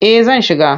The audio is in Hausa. Eh zan shiga.